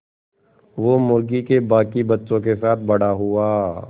वो मुर्गी के बांकी बच्चों के साथ बड़ा हुआ